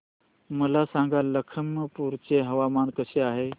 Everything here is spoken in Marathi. मला सांगा लखीमपुर चे हवामान कसे आहे